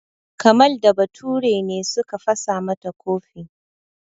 Kamal da Bature ne suka fasa mata kofi.